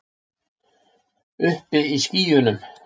Uppi í skýjunum.